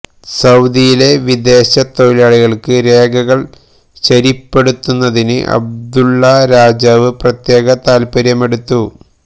സഊദിയിലെ വിദേശ തൊഴിലാളികള്ക്ക് രേഖകള് ശരിപ്പെടുത്തുന്നതിന് അബ്ദുല്ലാ രാജാവ് പ്രത്യേക താത്പര്യമെടുത്ത്